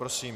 Prosím.